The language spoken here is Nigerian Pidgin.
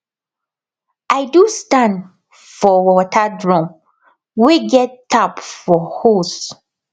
i do stand for water drum wey get tap for hose